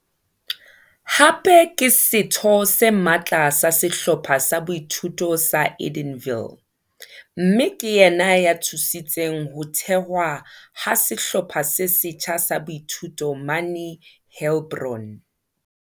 Hape ke setho se matla sa Sehlopha sa Boithuto sa Edenville, mme ke yena ya thusitseng ho thehwa ha sehlopha se setjha sa boithuto mane Heilbron.